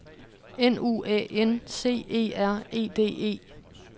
N U A N C E R E D E